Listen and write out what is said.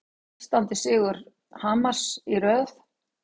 Sextándi sigur Hamars í röð